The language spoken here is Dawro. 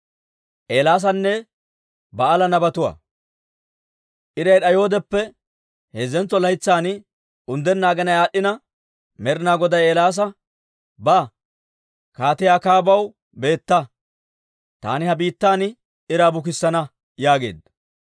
Iray d'ayoodeppe heezzentso laytsan, unddenna aginay aad'd'ina Med'inaa Goday Eelaasa, «Ba; Kaatiyaa Akaabaw beetta. Taani ha biittan iraa bukissana» yaageedda.